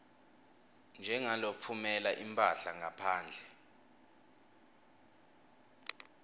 njengalotfumela imphahla ngaphandle